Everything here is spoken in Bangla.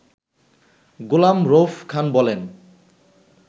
গোলাম রউফ খান বলেন